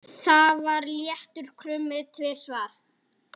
Það var léttur krummi tvisvar.